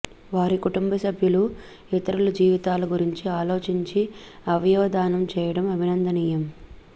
వారి కుటుంబసభ్యులు ఇతరుల జీవితాల గురించి ఆలోచించి అవయవదానం చేయడం అభినందనీయం